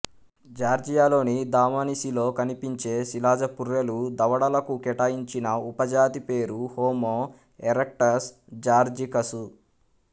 జార్జియాలోని దమానిసిలో కనిపించే శిలాజ పుర్రెలు దవడలకు కేటాయించిన ఉపజాతి పేరు హోమో ఎరెక్టస్ జార్జికసు